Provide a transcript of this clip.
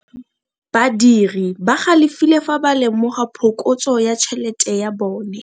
Badiri ba galefile fa ba lemoga phokotso ya tšhelete ya bone.